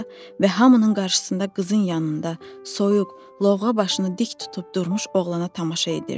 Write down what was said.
qıza və hamının qarşısında qızın yanında soyuq, lovğa başını dik tutub durmuş oğlana tamaşa edirdi.